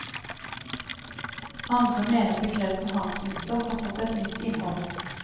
Andre mener begrepet handelsminister har fått et nytt innhold.